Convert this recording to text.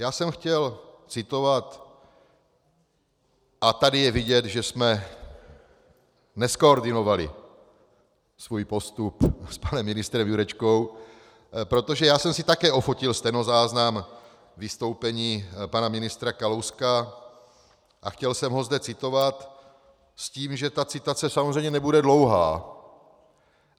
Já jsem chtěl citovat, a tady je vidět, že jsme nezkoordinovali svůj postup s panem ministrem Jurečkou, protože já jsem si také ofotil stenozáznam vystoupení pana ministra Kalouska a chtěl jsem ho zde citovat s tím, že ta citace samozřejmě nebude dlouhá.